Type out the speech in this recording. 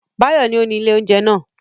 Báyọ̀ ni ó ni ilé-oúnjẹ náà.